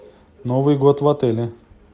новый год в отеле